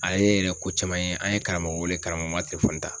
Ale yɛrɛ ko caman ye an ye karamɔgɔ wele karamɔgɔ ma telefɔni ta.